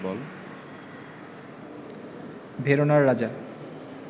ভেরোনার রাজা